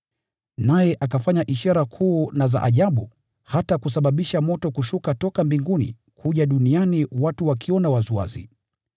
Naye akafanya ishara kuu na za ajabu, hata kusababisha moto kushuka toka mbinguni kuja duniani watu wakiona waziwazi.